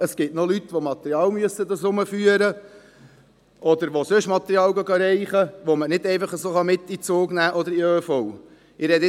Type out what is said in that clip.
Es gibt aber noch Leute, die Material führen müssen oder Material holen gehen, das man nicht einfach so mit in die Bahn oder in den ÖV nehmen kann.